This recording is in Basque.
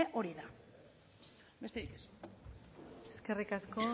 hori da besterik ez eskerrik asko